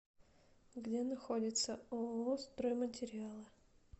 где находится ооо стройматериалы